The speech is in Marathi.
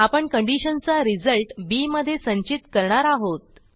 आपणcondition चा रिझल्ट बी मध्ये संचित करणार आहोत